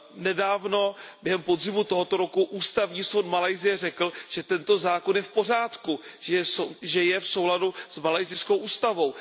Nedávno, během podzimu tohoto roku ústavní soud Malajsie řekl, že tento zákon je v pořádku, že je v souladu s malajsijskou ústavou.